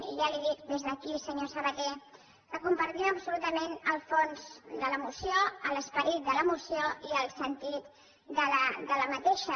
i ja li dic des d’aquí senyor sabaté que compartim absolutament el fons de la moció l’esperit de la moció i el sentit d’aquesta